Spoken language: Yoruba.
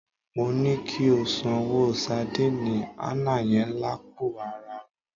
Mo ní kí o sanwó sadíìnì àná yẹn lápò araà rẹ.